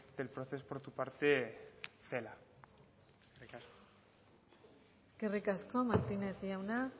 del procés por tu parte tela eskerrik asko eskerrik asko martínez jauna